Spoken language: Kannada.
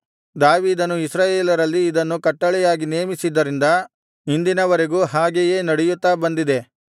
ದಾವೀದನು ಇಸ್ರಾಯೇಲರಲ್ಲಿ ಇದನ್ನು ಕಟ್ಟಳೆಯಾಗಿ ನೇಮಿಸಿದ್ದರಿಂದ ಇಂದಿನವರೆಗೂ ಹಾಗೆಯೇ ನಡೆಯುತ್ತಾ ಬಂದಿದೆ